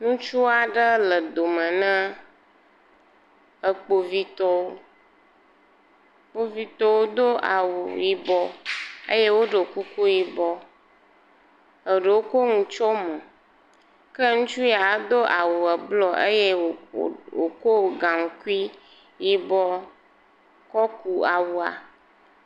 Ŋutsu aɖe le dome ne ekpovitɔ. Kpovitɔwo Do awu yibɔ eye woɖo kuku yibɔ. Eɖewo kɔ enu tso mo. Ke ŋutsu do awu blu. W kɔ gankui yibɔ kɔ ku awua.